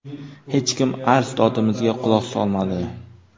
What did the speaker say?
Hech kim arz-dodimizga quloq solmadi.